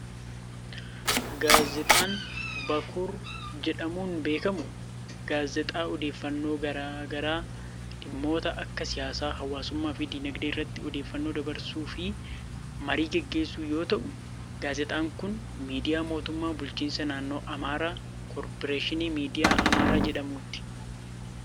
Gaazexaan Bakur jedhamuun beekamu, gaazexaa odeeffannoo garaa garaa dhimmoota akka siyaasaa, hawaasummaa fi diinagdee irratti odeeffannoo dabarsuu fi marii gaggeessu yoo ta'u, gaazexaan kan miidiyaa mootummaa bulchiinsa naannoo Amaaraa ,Korporeeshinii Miidiyaa Amaaraa jedhamuuti.